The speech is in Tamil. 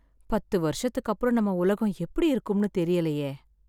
பத்து வருஷத்துக்கு அப்புறம் நம்ம உலகம் எப்படி இருக்கும்ன்னு தெரியலையே.